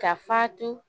Ka fatu